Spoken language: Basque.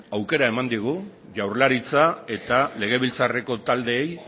aukera eman digu jaurlaritza eta legebiltzarreko taldeei